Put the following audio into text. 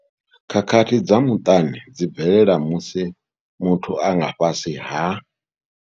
Khakhathi dza muṱani dzi bvelela musi muthu a nga fhasi ha.